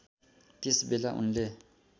त्यस बेला उनले